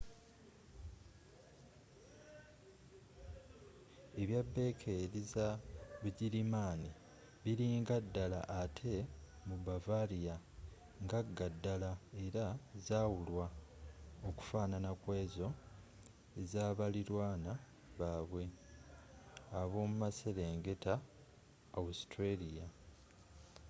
ebyabeekeri za bugirimani birungi ddala ate mu bavaria ngagga ddala era zawulwa okufanana ku ezo ez'abalirwana baabwe ab'omu maserengeta austria